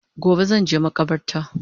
Gobe zanje makabarta